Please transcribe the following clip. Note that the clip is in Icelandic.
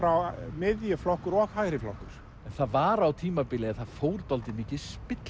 miðjuflokkur og hægriflokkur það var á tímabili að það fór dálítið mikið